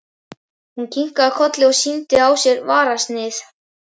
Hún kinkaði kolli og sýndi á sér fararsnið.